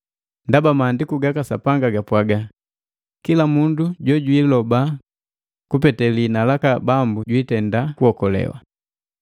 Ndaba Maandiku gaka Sapanga gapwaga, “Kila mundu jojwiiloba kupetee lihina laka Bambu jwiitenda kuokolewa.”